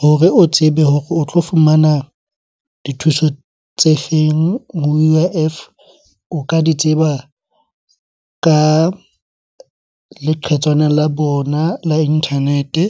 Hore o tsebe hore o tlo fumana dithuso tse feng U_I_F, o ka di tseba ka leqhetswana la bona la internet-e.